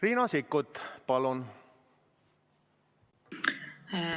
Riina Sikkut, palun!